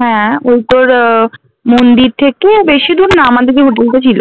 হ্যাঁ ওই তোর আহ মন্দির থেকে বেশিদূর না আমাদের যে hotel টা ছিল